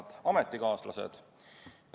Head ametikaaslased!